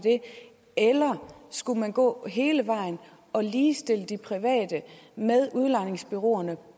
skulle gå hele vejen og ligestille de private med udlejningsbureauerne